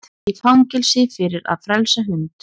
Í fangelsi fyrir að frelsa hund